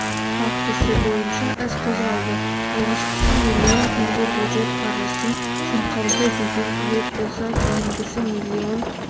фактісі бойынша іс қозғалды алғашқысы миллион теңге бюджет қаржысын жымқырды деген айып болса кейінгісі миллион